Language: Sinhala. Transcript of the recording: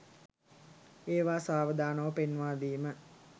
ඒවා සාවදානව පෙන්වා දීම